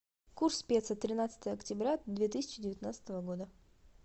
курс песо тринадцатое октября две тысячи девятнадцатого года